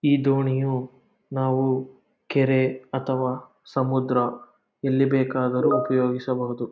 ಈ ದೋಣಿಯು ನಾವು ಕೆರೆ ಅಥವಾ ಸಮುದ್ರ ಎಲ್ಲಿ ಬೇಕಾದರು ಉಪಯೋಗಿಸಬಹುದು.